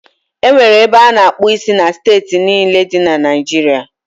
E nwere ebe a na-akpụ isi na steeti niile dị na Naịjiria.